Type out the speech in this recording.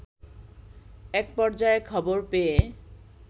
এক পর্যায়ে খবর পেয়ে